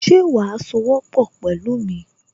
Ṣe wàá sowọ́pọ̀ pẹ̀lú mi